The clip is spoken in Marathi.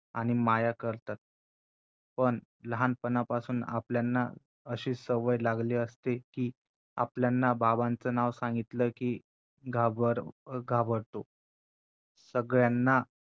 आणि माया करतात पण लहानपणापासून आपल्यांना अशी सवय लागली असते कि आपल्यांना बाबांच नाव सांगितला कि घाबर~ घाबरतो सगळ्यांना